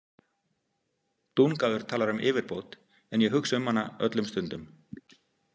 Dungaður talar um yfirbót en ég hugsa um hana öllum stundum.